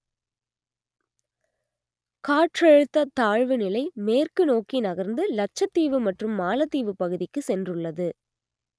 காற்றழுத்த தாழ்வுநிலை மேற்கு நோக்கி நகர்ந்து லட்சத்தீவு மற்றும் மாலத்தீவு பகுதிக்கு சென்றுள்ளது